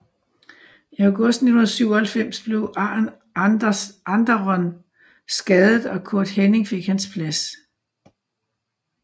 I august 1997 blev Arn Anderon skadet og Curt Hennig fik hans plads